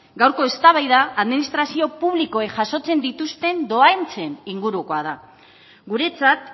gaurko eztabaida administrazio publikoek jasotzen dituzten dohaintzen ingurukoa da guretzat